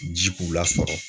Ji b'u lasɔrɔ